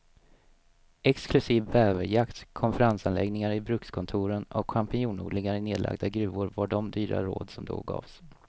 Exklusiv bäverjakt, konferensanläggningar i brukskontoren och champinjonodlingar i nedlagda gruvor var de dyra råd som då gavs.